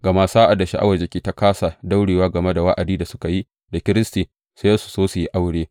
Gama sa’ad da sha’awar jikinsu ta kāsa daurewa game da wa’adin da suka yi da Kiristi, sai su so yin aure.